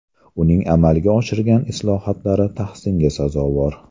Uning amalga oshirgan islohotlari tahsinga sazovor.